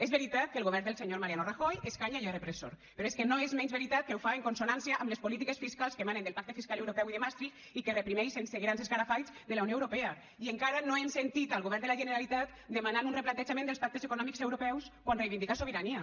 és veritat que el govern del senyor mariano rajoy escanya i és repressor però és que no és menys veritat que ho fa en consonància amb les polítiques fiscals que emanen del pacte fiscal europeu i de maastricht i que reprimeix sense grans escarafalls de la unió europea i encara no hem sentit el govern de la generalitat demanant un replantejament dels pactes econòmics europeus quan reivindica sobirania